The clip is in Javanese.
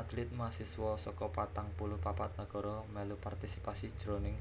Atlit mahasiswa saka patang puluh papat nagara mèlu partisipasi jroning